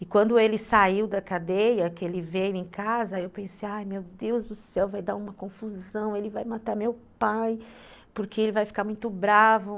E quando ele saiu da cadeia, que ele veio em casa, aí eu pensei, ai meu Deus do céu, vai dar uma confusão, ele vai matar meu pai, porque ele vai ficar muito bravo.